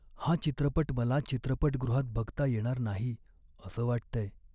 हा चित्रपट मला चित्रपटगृहात बघता येणार नाही असं वाटतंय.